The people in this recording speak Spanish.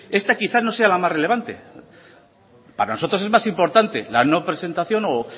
esta quizá no sea la más relevante para nosotros es más importante la no presentación o